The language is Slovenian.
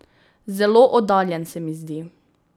Zelo oddaljen se mi zdi.